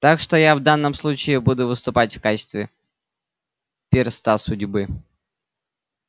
так что я в данном случае буду выступать в качестве перста судьбы